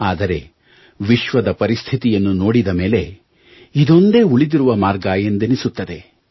ಆದರೆ ವಿಶ್ವದ ಪರಿಸ್ಥಿತಿಯನ್ನು ನೋಡಿದ ಮೇಲೆ ಇದೊಂದೇ ಉಳಿದಿರುವ ಮಾರ್ಗ ಎಂದೆನ್ನಿಸುತ್ತದೆ